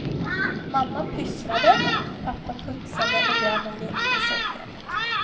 Mamma pysslade, pappa putsade och grabben lekte i solskenet.